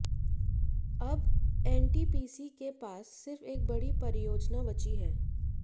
अब एनटीपीसी के पास सिर्फ एक बड़ी परियोजना बची है